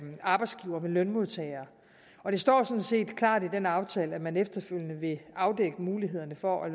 arbejdsgivere med lønmodtagere og det står sådan set klart i den aftale at man efterfølgende vil afdække mulighederne for at